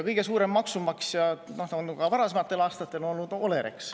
Kõige suurem maksumaksja on ka varasematel aastatel olnud Olerex.